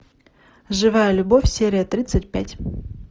живая любовь серия тридцать пять